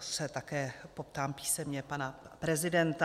se také poptám písemně pana prezidenta.